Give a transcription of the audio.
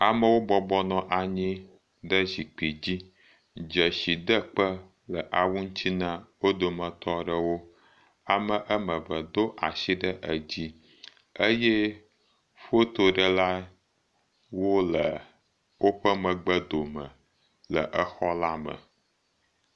Amewo bɔbɔ nɔ anyi ɖe zikpi dzi. Dzesidekpe le awu ŋuti na wo dometɔ aɖewo. Ame am eve do asi ɖe edzi. Fotoɖelawo le woƒe megbedome le exɔla me.